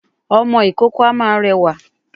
Ọmọ ìkókó a máa rẹwà